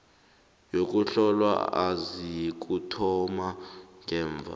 yokuhlolwa izakuthoma ngemva